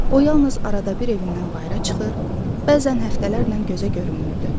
O yalnız arada bir evindən bayıra çıxır, bəzən həftələrlə gözə görünmürdü.